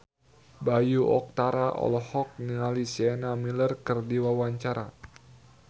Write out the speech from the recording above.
Bayu Octara olohok ningali Sienna Miller keur diwawancara